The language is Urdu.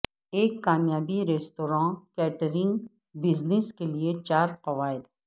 ایک کامیاب ریستوراں کیٹرنگ بزنس کے لئے چار قواعد